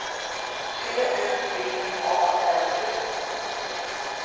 T U V A L U